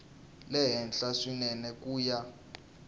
le henhla swinene ku ya